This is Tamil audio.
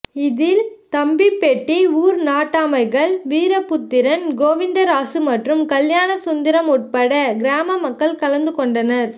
இதில் தம்பி பெட்டி ஊர் நாட்டாமைகள் வீரபுத்திரன் கோவிந்தராசு மற்றும் கல்யாணசுந்தரம் உட்பட கிராம மக்கள் கலந்து கொண்டனர்